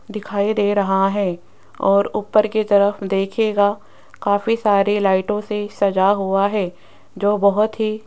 दिखाई दे रहा है और ऊपर की तरफ देखिएगा काफी सारी लाइटों से सजा हुआ है जो बहोत ही --